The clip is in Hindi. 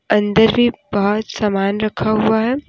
अंदर भी बहोत सामान रखा हुआ है।